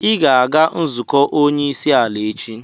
Ị ga-aga nzukọ onye isi ala echi!